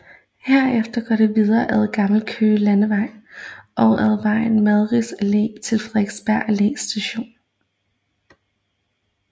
Herefter går det videre ad Gammel Kongevej og om ad Madvigs Allé til Frederiksberg Allé Station